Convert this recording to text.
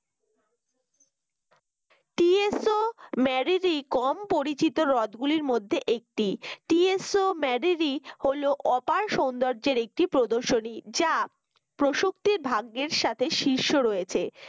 TSO Moriri কম পরিচিত হ্রদগুলির মধ্যে একটি TSO মেরিরি হল অপার সৌন্দর্যের একটি প্রদর্শনী যা প্রসক্তি ভাগ্যের সাথে শীর্ষ রয়েছে